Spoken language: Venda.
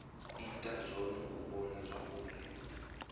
ita zwone u vhona zwauri